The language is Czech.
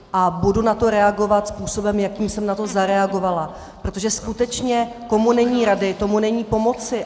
A budu na to reagovat způsobem, jakým jsem na to zareagovala, protože skutečně komu není rady, tomu není pomoci.